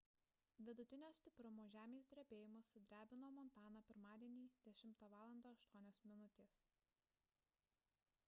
vidutinio stiprumo žemės drebėjimas sudrebino montaną pirmadienį 10:08 val